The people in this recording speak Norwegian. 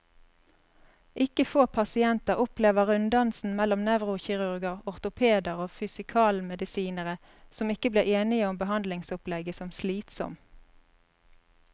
Ikke få pasienter opplever runddansen mellom nevrokirurger, ortopeder og fysikalmedisinere, som ikke blir enige om behandlingsopplegget, som slitsom.